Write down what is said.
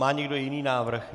Má někdo jiný návrh?